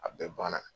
A bɛɛ banna